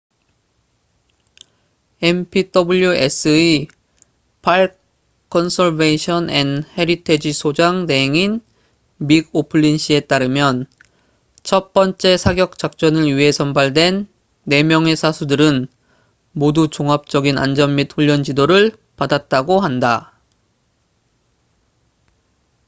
npws의 park conservation and heritage공원 보존 및 헤리티지 소장 대행인 믹 오플린씨에 따르면 첫 번째 사격 작전을 위해 선발된 4명의 사수들은 모두 종합적인 안전 및 훈련 지도를 받았다고 한다